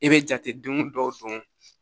I bɛ jateden dɔw don